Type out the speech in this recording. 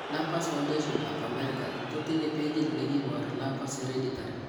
Lupus foundation ab american kotinye pejit nekibore lupus hereditary